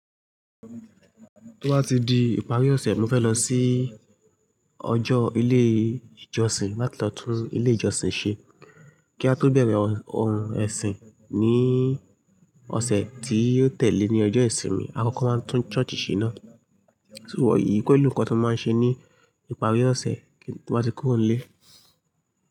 Tío bàá ti di ìparí ọ̀sẹ̀ ni mo fẹ́ lọ sí ọjọ́, ilé ìjọsìn, lati lo tún ilé ìjọsìn ṣe. Kí a tó bẹ̀rẹ̀ ohun ẹ̀sìn ní ọ̀sẹ̀ tí yóò tẹ́lẹ̀ ní ọjọ́ ìsinmi, a kọ́kọ́ máa tún church ṣe ná. So, eyìí pelú nǹkan ti mo máa ń ṣe ní ìparí ọ̀sẹ̀ tín bàá ti kúrò nlé.